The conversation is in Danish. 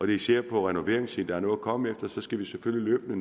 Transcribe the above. det især er på renoveringssiden der er noget at komme efter så skal vi selvfølgelig